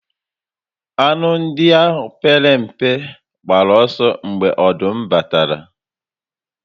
Anụ ndị a pere mpe gbara ọsọ mgbe ọdụm batara